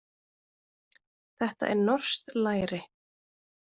Þetta er norskt læri.